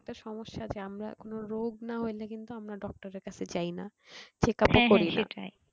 একটা সমস্যা যে আমরা কোনো রোগ না হইলে কিন্তু আমরা doctor এর কাছে যায়না checkup ও করিনা